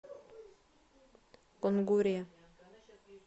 кунгуре